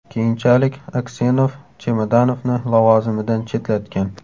Keyinchalik Aksenov Chemodanovni lavozimidan chetlatgan.